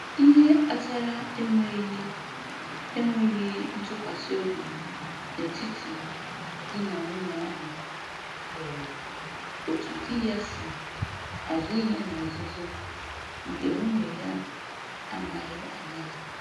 Ihe kpatara enweghị enweghị ntụkwasịobi n'etiti di na nwunye ahụ bụ otu di ya si azụ ihe na nzuzo nke nwunye ya amaghị anya ya